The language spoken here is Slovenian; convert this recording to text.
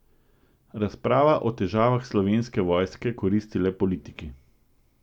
Razprava o težavah Slovenske vojske koristi le politiki.